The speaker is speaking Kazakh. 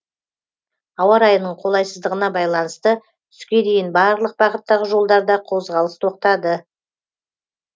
ауа райының қолайсыздығына байланысты түске дейін барлық бағыттағы жолдарда қозғалыс тоқтады